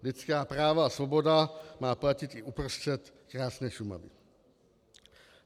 Lidská práva a svoboda má platit i uprostřed krásné Šumavy.